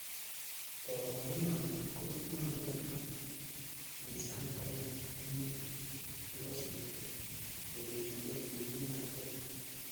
Koborunoni ko konyolu konaam en sait agenge ak nusu nekosirto, kourerendos tienikab kenya.